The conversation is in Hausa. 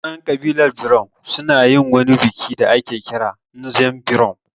Mutanen ƙabilar birom su na yin wani biki da ake kira ''Nzem Berom''